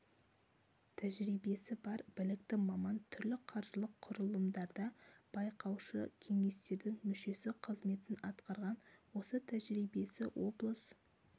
тәжірибесі бар білікті маман түрлі қаржылық құрылымдарда байқаушы кеңестердің мүшесі қызметін атқарған осы тәжірибесі облыс